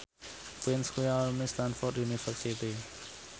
Prince kuwi alumni Stamford University